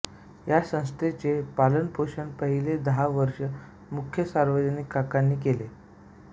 या संस्थेचे पालनपोषण पहिली दहा वर्ष मुख्यतः सार्वजनिक काकांनी केले